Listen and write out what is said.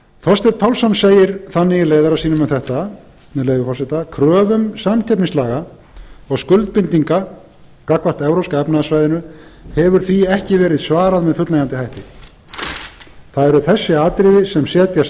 þorsteinn pálsson segir þannig í leiðara sínum um þetta með leyfi forseta kröfum samkeppnislaga og skuldbindinga gagnvart evrópska efnahagssvæðinu hefur því ekki verið svarað með fullnægjandi hætti það eru þessi atriði sem setja